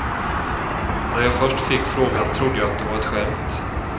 När jag först fick frågan trodde jag det var ett skämt.